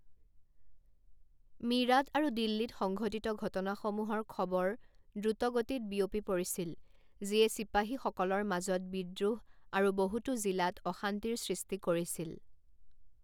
মীৰাট আৰু দিল্লীত সংঘটিত ঘটনাসমূহৰ খবৰ দ্ৰুতগতিত বিয়পি পৰিছিল, যিয়ে চিপাহীসকলৰ মাজত বিদ্ৰোহ আৰু বহুতো জিলাত অশান্তিৰ সৃষ্টি কৰিছিল।